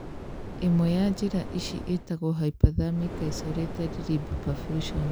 Ĩmwe ya njĩra ici ĩtagwo hyperthermic isolated limb perfusion.